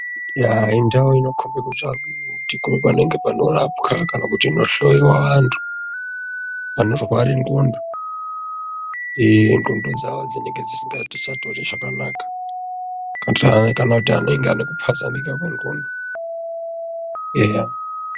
Indau inokombe panoprapwa panohloyiwa antu anorware ndxondo. Ndxondo dzavo dzine ge dzisinga chatori zvakanaka kana kuti ane ku pazamuka kwe ndxondo eya.